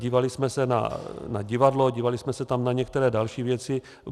Dívali jsme se na divadlo, dívali jsme se tam na některé další věci.